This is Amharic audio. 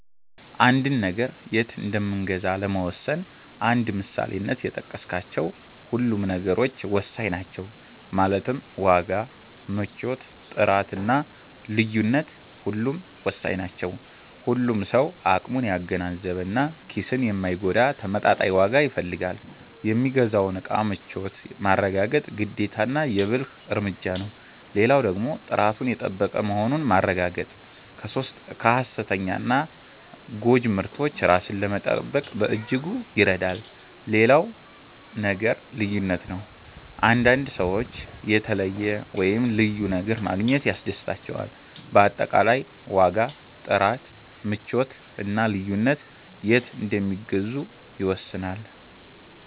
አንድን ነገር የት እንምገዛ ለመወሰን እንደ ምሳሌነት የጠቀስካቸው ሁሉም ነገሮች ወሳኝ ናቸው ማለትም ዋጋ፣ ምቾት፣ ጥራት እና ልዩነት ሁሉም ወሳኝ ናቸው። ሁሉም ሰው አቅሙን ያገናዘበ እና ኪስን የማይጎዳ ተመጣጣኝ ዋጋ ይፈልጋል። የሚገዛውን እቃ ምቾት ማረጋገጥ ግዴታና የ ብልህ እርምጃ ነው። ሌላው ደግሞ ጥራቱን የጠበቀ መሆኑን ማረጋገጥ ከ ሃሰተኛና ጎጂ ምርቶች ራስን ለመጠበቅ በእጅጉ ይረዳል። ሌላው ነገር ልዩነት ነው፤ አንዳንድ ሰዎች የተለየ(ልዩ) ነገር ማግኘት ያስደስታቸዋል። በአጠቃላይ ዋጋ፣ ጥራት፣ ምቾት እና ልዩነት የት እንደሚገዙ ይወስናሉ።